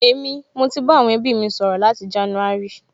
Èmi, mo ti bá àwọn ẹbí mi sọ̀rọ̀ láti jánúárì